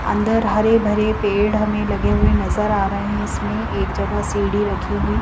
अंदर हरे भरे पेड़ हमें लगे हुए नजर आ रहे हैं इसमें एक जगह सीढ़ी रखी हुई।